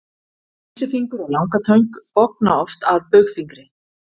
vísifingur og langatöng bogna oft að baugfingri